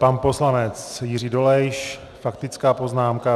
Pan poslanec Jiří Dolejš, faktická poznámka.